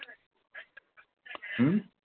হম